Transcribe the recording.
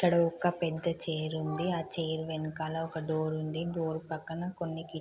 ఇక్కడ ఒక పెద్ద చైర్ ఉంది. ఆ చైర్ వెనకాల ఒక డోరుంది . ఆ డోర్ పక్కన కిటికీలు ఉన్నాయి.